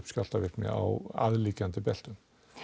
skjálftavirkni á aðliggjandi beltum